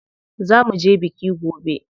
Za muje biki gobe.